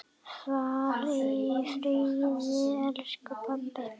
Far í friði, elsku pabbi!